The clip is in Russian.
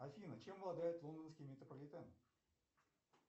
афина чем владает лондонский метрополитен